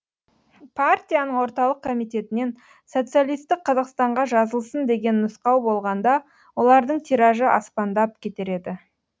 партияның орталық комитетінен социалистік қазақстанға жазылсын деген нұсқау болғанда олардың тиражы аспандап кетер еді